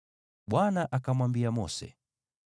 Bwana akamwambia Mose,